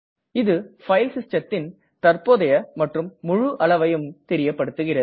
இது பைல் systemதின் தற்ப்போதைய மற்றும் முழு அளவையும் தெரியப்படுத்துகிறது